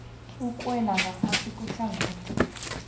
okuwela ngaphasi kwehlangothi